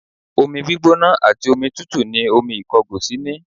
Omi gbígbóná àti omi tútù ni omi ìkọgòsì ní